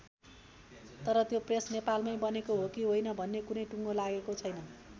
तर त्यो प्रेस नेपालमै बनेको हो कि होइन भन्ने कुनै टुँगो लागेको छैन।